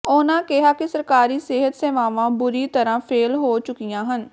ਉਹਨਾਂ ਕਿਹਾ ਕਿ ਸਰਕਾਰੀ ਸਿਹਤ ਸੇਵਾਂਵਾਂ ਬੁਰੀ ਤਰਾਂ ਫੇਲ ਹੋ ਚੁਕੀਆਂ ਹਨ